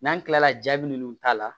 N'an tilala jaabi minnu t'a la